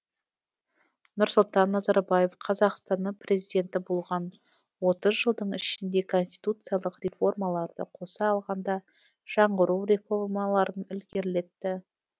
нұрсұлтан назарбаев қазақстанның президенті болған отыз жылдың ішінде конституциялық реформаларды қоса алғанда жаңғыру реформаларын ілгерілетті